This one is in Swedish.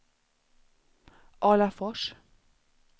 Alafors